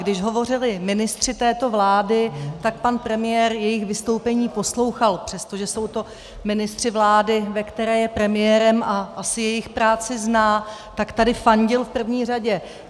Když hovořili ministři této vlády, tak pan premiér jejich vystoupení poslouchal, přestože jsou to ministři vlády, ve které je premiérem, a asi jejich práci zná, tak tady fandil v první řadě.